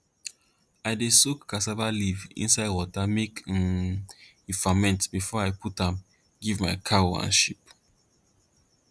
i dey soak cassava leaf inside water make um e ferment before i put am give my cow and sheep